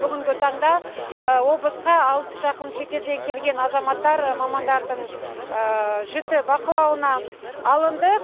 бүгінгі таңда облысқа алыс жақын шетелден келген азаматтар мамандардың жіті бақылауына алынды